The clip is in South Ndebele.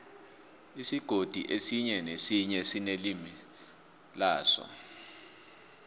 isigodi esinye nesinye sinelimi laso